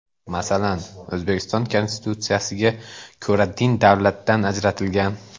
Masalan, O‘zbekiston Konstitutsiyasiga ko‘ra din davlatdan ajratilgan.